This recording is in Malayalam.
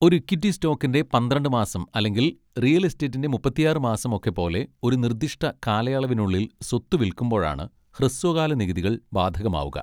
ഒരു ഇക്വിറ്റി സ്റ്റോക്കിൻ്റെ പന്ത്രണ്ട് മാസം അല്ലെങ്കിൽ റിയൽ എസ്റ്റേറ്റിൻ്റെ മുപ്പത്തിയാറ് മാസം ഒക്കെ പോലെ ഒരു നിർദിഷ്ട കാലയളവിനുള്ളിൽ സ്വത്ത് വിൽക്കുമ്പോഴാണ് ഹ്രസ്വകാല നികുതികൾ ബാധകമാവുക.